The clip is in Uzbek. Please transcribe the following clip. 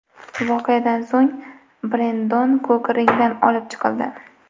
Voqeadan so‘ng Brendon Kuk ringdan olib chiqildi.